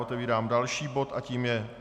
Otevírám další bod a tím je